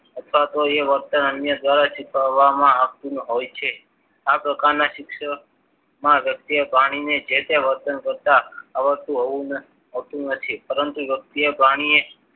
અથવા તો એ વર્તન અન્ય દ્વારા શીખવવામાં આવતું હોય છે. આ પ્રકારના શિક્ષણ વ્યક્તિએ પ્રાણીને જે તે વર્તન કરતા આવડતું હોવું હોતું નથી. પરંતુ યોગ્ય પ્રાણીએ